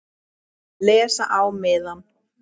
Les á miðann.